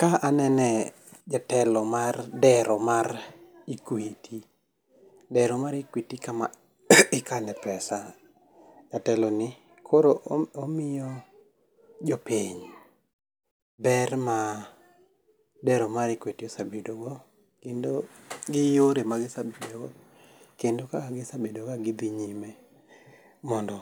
Ka anene jatelo mar dero mar Equity. Dero mar Equity kama ikane pesa. Jatelo ni koro omiyo jopiny ber ma dero mar Equity osebedo kendo gi yore magisebedogo kendo kaka gisebedo ka gidhi nyime mondo